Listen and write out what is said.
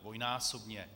Dvojnásobně.